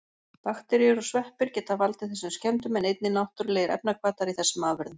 Bakteríur og sveppir geta valdið þessum skemmdum en einnig náttúrulegir efnahvatar í þessum afurðum.